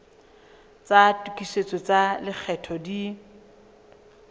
tsa tokisetso tsa lekgetho di